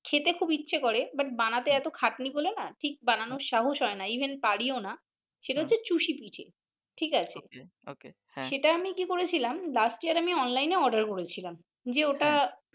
খেতে খুব ইচ্ছা করে বানাতে এতো খাটনি বলে নাহ ঠিক বানানোর সাহস হয়না even পারি ও নাহ সেটা হচ্ছে চুষি পিঠে ঠিক আছে । সেটা আমি কি করেছিলাম last year আমি অনলাইনে order করেছিলাম যে ওটা